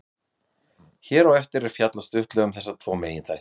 Hér á eftir er fjallað stuttlega um þessa tvo meginþætti.